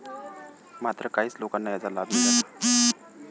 मात्र काहीच लोकांना त्याचा लाभ मिळाला होता.